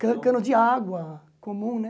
cano cano de água comum, né?